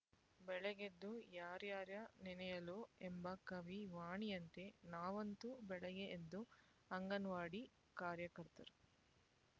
ಬೆಳಗೆದ್ದು ಯಾರ್ಯಾರ ನೆನೆಯಲೋ ಎಂಬ ಕವಿ ವಾಣಿಯಂತೆ ನಾವಂತೂ ಬೆಳಗ್ಗೆ ಎದ್ದು ಅಂಗನವಾಡಿ ಕಾರ್ಯಕರ್ತರು